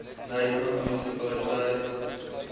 knysna munisipaliteit